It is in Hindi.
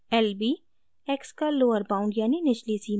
lb : x का लोअर बाउंड यानी निचली सीमा है